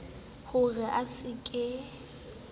ho re a se ke